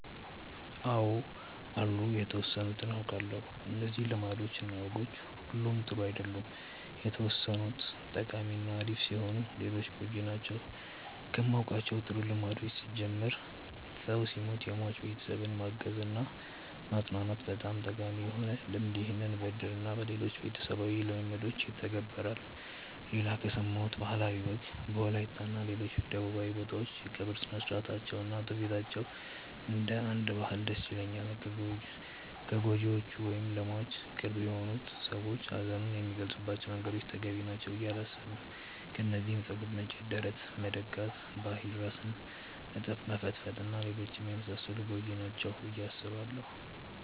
አው አሉ የተወሰኑትን አውቃለው። እነዚህ ልማዶች እና ወጎች ሁሉም ጥሩ አይደሉም የተወሰኑት ጠቃሚ እና አሪፍ ሲሆኑ ሌሎቹ ጎጂ ናቸው። ከማውቃቸው ጥሩ ልምዶች ስጀምር ሰው ሲሞት የሟች ቤተሰብን ማገዝ እና ማፅናናት በጣም ጠቃሚ የሆነ ልምድ ይህም በእድር እና በሌሎችም ቤተሰባዊ ልምዶች ይተገበራል። ሌላ ከሰማሁት ባህላዊ ወግ በወላይታ እና ሌሎች ደቡባዊ ቦታዎች የቀብር ስርአታቸው እና ትውፊታቸው እንደ አንድ ባህል ደስ ይለኛል። ከጎጂዎቹ ደግሞ ለሟች ቅርብ የሆነ ሰው ሀዘኑን የሚገልፀባቸው መንገዶች ተገቢ ናቸው ብዬ አላስብም። ከነዚህም ፀጉር መንጨት፣ ደረት መድቃት፣ በኃይል ራስን መፈጥፈጥ እና ሌሎችም የመሳሰሉት ጎጂ ናቸው ብዬ አስባለው።